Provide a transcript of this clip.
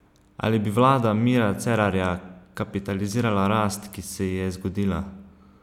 Ali bi vlada Mira Cerarja kapitalizirala rast, ki se ji je zgodila?